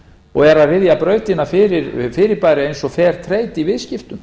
og eru að ryðja brautina fyrir fyrirbæri eins og fertrade í viðskiptum